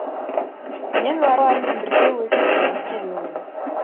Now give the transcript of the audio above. мен балаларыммен бірге өсіп өніп келемін